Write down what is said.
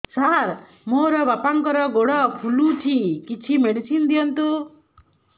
ସାର ମୋର ବାପାଙ୍କର ଗୋଡ ଫୁଲୁଛି କିଛି ମେଡିସିନ ଦିଅନ୍ତୁ